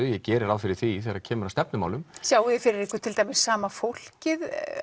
ég geri ráð fyrir því þegar kemur að stefnumálum sjáið þið fyrir ykkur til dæmis sama fólkið